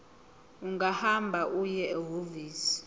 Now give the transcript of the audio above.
ungahamba uye ehhovisi